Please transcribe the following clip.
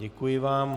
Děkuji vám.